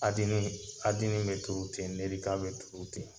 be turu ten, be turu ten.